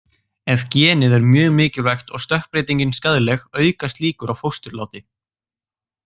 Ef genið er mjög mikilvægt og stökkbreytingin skaðleg, aukast líkur á fósturláti.